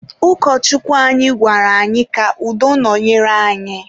Ụkọchukwu anyị gwara anyị ka udo nọnyere anyị..